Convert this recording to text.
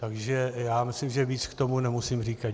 Takže si myslím, že víc k tomu nemusím říkat.